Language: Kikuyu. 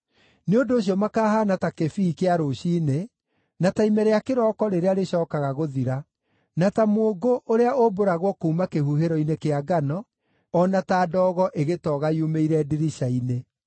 Nĩ ũndũ ũcio makahaana ta kĩbii kĩa rũciinĩ, na ta ime rĩa kĩrooko rĩrĩa rĩcookaga gũthira, na ta mũũngũ ũrĩa ũmbũragwo kuuma kĩhuhĩro-inĩ kĩa ngano, o na ta ndogo ĩgĩtoga yumĩire ndirica-inĩ.